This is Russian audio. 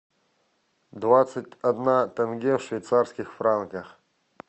двадцать одна тенге в швейцарских франках